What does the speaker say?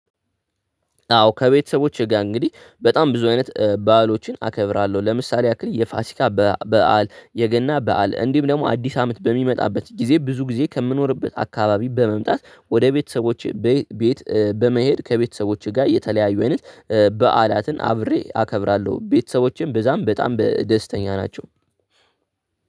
አዎ ከቤተሰቦቼ ጋር እንግዲህ በጣም ብዙ አይነት በዓሎችን አከብራለሁ። ለምሳሌ ያክል የፋሲካ በዓል የገና በዓል እንዲሁም ደግሞ አዲስ አመት በሚመጣበት ጊዜ ብዙ ጊዜ ከምኖርበት አካባቢ በመምጣት ወደ ቤተሰቦቼ ቤት በመሄድ ከቤተሰቦቼ ጋር የተለያዩ አይነት በዓላትን አብሬ አከብራለሁ። ቤተሰቦቼም በዛ በጣም ደስተኞች ናቸው።